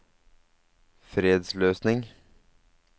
fredsløsning